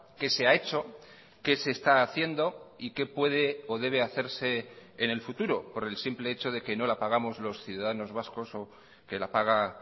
qué se ha hecho qué se está haciendo y qué puede o debe hacerse en el futuro por el simple hecho de que no la pagamos los ciudadanos vascos o que la paga